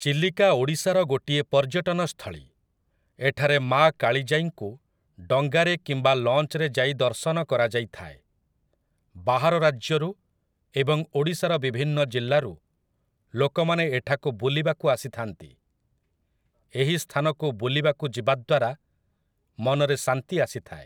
ଚିଲିକା ଓଡ଼ିଶାର ଗୋଟିଏ ପର୍ଯ୍ୟଟନ ସ୍ଥଳୀ । ଏଠାରେ ମାଆ କାଳିଜାଇଙ୍କୁ ଡଙ୍ଗାରେ କିମ୍ବା ଲଞ୍ଚରେ ଯାଇ ଦର୍ଶନ କରାଯାଇଥାଏ । ବାହାର ରାଜ୍ୟରୁ ଏବଂ ଓଡ଼ିଶାର ବିଭିନ୍ନ ଜିଲ୍ଲାରୁ ଲୋକମାନେ ଏଠାକୁ ବୁଲିବାକୁ ଆସିଥାନ୍ତି । ଏହି ସ୍ଥାନକୁ ବୁଲିବାକୁ ଯିବା ଦ୍ୱାରା ମନରେ ଶାନ୍ତି ଆସିଥାଏ ।